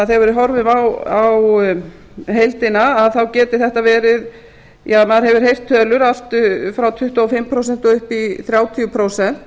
þegar við horfum á heildina þá geti þetta verið maður hefur heyrt tölur allt frá tuttugu og fimm prósent og upp í þrjátíu prósent